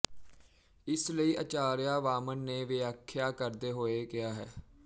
ਇਸ ਲਈ ਆਚਾਰੀਆ ਵਾਮਨ ਨੇ ਵਿਆਖਿਆ ਕਰਦੇ ਹੋਏ ਕਿਹਾ ਹੈ